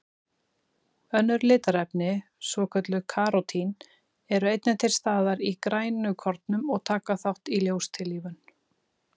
Önnur litarefni, svokölluð karótín, eru einnig til staðar í grænukornum og taka þátt í ljóstillífun.